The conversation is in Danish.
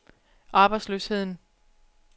arbejdsløsheden